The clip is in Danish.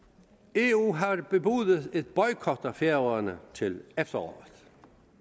eu har bebudet en boykot af færøerne til efteråret